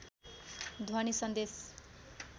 ध्वनी सन्देश